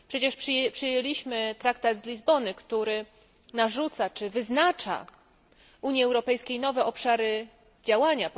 Przyjęliśmy przecież traktat z Lizbony, który narzuca czy wyznacza Unii Europejskiej nowe obszary działania.